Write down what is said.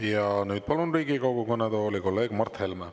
Ja nüüd palun Riigikogu kõnetooli kolleeg Mart Helme.